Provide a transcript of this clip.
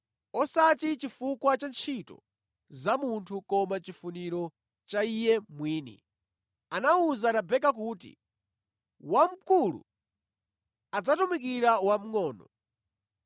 osati chifukwa cha ntchito za munthu koma chifuniro cha Iye mwini, anawuza Rebeka kuti, “Wamkulu adzatumikira wamʼngʼono.”